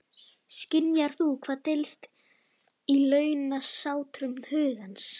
Skynjar hún hvað dylst í launsátrum hugans?